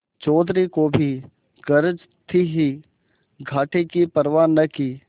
चौधरी को भी गरज थी ही घाटे की परवा न की